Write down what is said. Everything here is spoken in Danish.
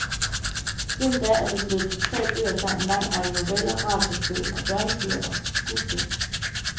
Siden da er det blevet til tre bøger samt en lang række noveller, radiospil, børnebøger og skuespil.